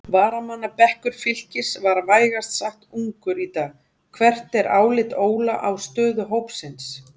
Varamannabekkur Fylkis var vægast sagt ungur í dag, hvert er álit Óla á stöðu hópsins?